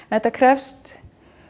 þetta krefst